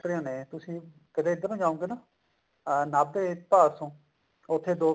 ਨੇ ਤੁਸੀਂ ਕਰਦੇ ਇੱਧਰ ਨੂੰ ਜਾਓਂਗੇ ਨਾ ਨਾਭੇ ਭਾਦਸੋਂ ਉੱਥੇ ਦੋ